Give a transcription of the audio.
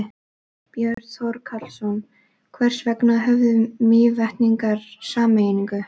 Björn Þorláksson: Hvers vegna höfnuðu Mývetningar sameiningu?